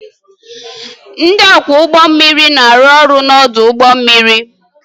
Ndị ọkwọ ụgbọ mmiri na-arụ ọrụ n'ọdụ ụgbọ mmiri